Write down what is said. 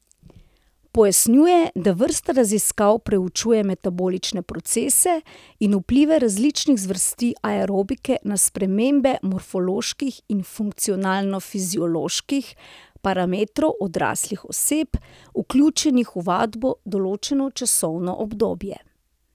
Pojasnjuje, da vrsta raziskav preučuje metabolične procese in vplive različnih zvrsti aerobike na spremembe morfoloških in funkcionalno fizioloških parametrov odraslih oseb, vključenih v vadbo določeno časovno obdobje.